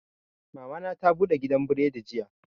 Mama na ta bude gidan buredi jiya